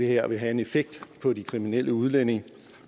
her vil have en effekt på de kriminelle udlændinge